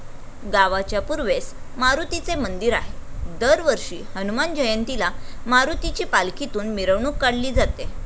गावाच्या पूर्वेस मारुतीचे मंदिर आहे, दरवर्षी हनुमान जयंतीला मारुतीची पालखीतून मिरवणूक काढली जाते.